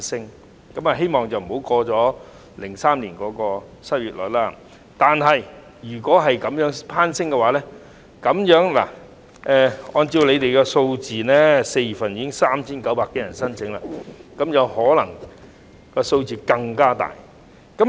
我固然希望不會突破2003年的失業率，但失業率若繼續攀升，按照政府的數字 ，4 月份已有3900多人申請綜援，日後這個數字可能更大。